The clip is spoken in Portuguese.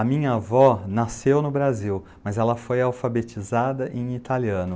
A minha avó nasceu no Brasil, mas ela foi alfabetizada em italiano.